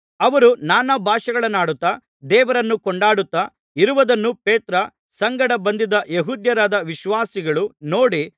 ಅವರು ನಾನಾ ಭಾಷೆಗಳನ್ನಾಡುತ್ತಾ ದೇವರನ್ನು ಕೊಂಡಾಡುತ್ತಾ ಇರುವುದನ್ನು ಪೇತ್ರನ ಸಂಗಡ ಬಂದಿದ್ದ ಯೆಹೂದ್ಯರಾದ ವಿಶ್ವಾಸಿಗಳು ನೋಡಿ